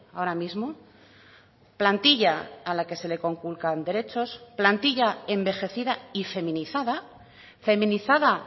ahora mismo plantilla a la que se le conculcan derechos plantilla envejecida y feminizada feminizada